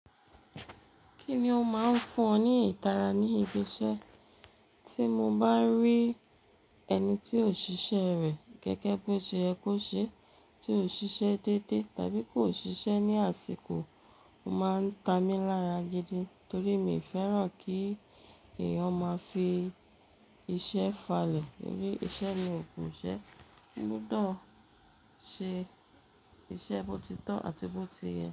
Kí ni ó máa ń fún ọ ní ìtara ní ibi iṣẹ́? Tí mo bá rí ẹni tí ò ṣiṣẹ́ rẹ̀ gẹ́gẹ́ bí o ṣe yẹ kó ṣe, tí ò ṣiṣẹ́ dédé tàbí kò ṣiṣẹ́ ní àsìkò, ó máa ń ta mí lára gidi torí mi ò fẹ́ràn kí ẹ̀eyàn máa fi iṣẹ́ falẹ̀ nítorí iṣẹ́ ni ògun ìṣẹ́. Ó gbudọ̀ ṣe iṣẹ́ bó ti tọ́ àti bó ti yẹ.